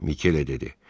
Mikelə dedi.